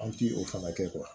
An ti o fana kɛ